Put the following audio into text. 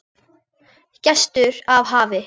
Gestur af hafi